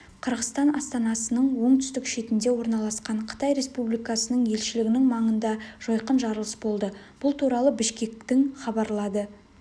қырғызстан астанасының оңтүстік шетінде орналасқан қытай республикасының елшілігінің маңында жойқын жарылыс болды бұл туралы бішкектің хабарлады